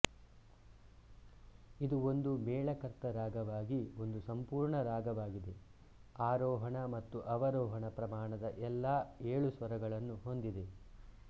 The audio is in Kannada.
ಇದು ಒಂದು ಮೇಳಕರ್ತ ರಾಗವಾಗಿ ಒಂದು ಸಂಪೂರ್ಣ ರಾಗವಾಗಿದೆ ಆರೋಹಣ ಮತ್ತು ಅವರೋಹಣ ಪ್ರಮಾಣದ ಎಲ್ಲಾ ಏಳು ಸ್ವರಗಳನ್ನು ಹೊಂದಿದೆ